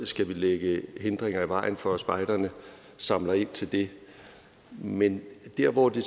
skal lægge hindringer i vejen for at spejderne samler ind til det men der hvor det